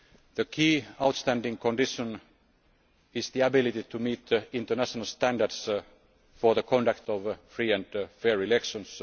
started. The key outstanding condition is the ability to meet international standards for the conduct of free and fair elections.